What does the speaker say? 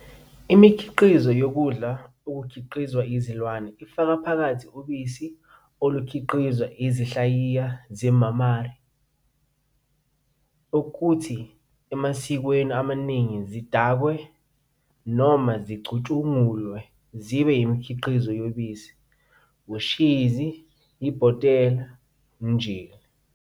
Imikhiqizo yokudla ekhiqizwa izilwane ifaka phakathi ubisi olukhiqizwa yizinhlayiya ze-mammary, okuthi emasikweni amaningi zidakwe noma zicutshungulwe zibe yimikhiqizo yobisi, ushizi, ibhotela, njll.